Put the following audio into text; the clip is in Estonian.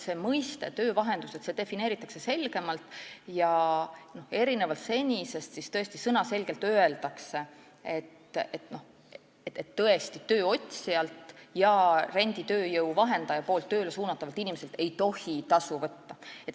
Ühelt poolt defineeritakse senisest selgemalt töövahenduse mõiste ja öeldakse tõesti sõnaselgelt, et tööotsijalt ja renditööjõu vahendaja suunatavalt inimeselt ei tohi tasu võtta.